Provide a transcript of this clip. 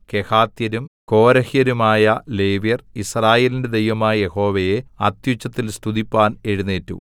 കെഹാത്യരും കോരഹ്യരുമായ ലേവ്യർ യിസ്രായേലിന്റെ ദൈവമായ യഹോവയെ അത്യുച്ചത്തിൽ സ്തുതിപ്പാൻ എഴുന്നേറ്റു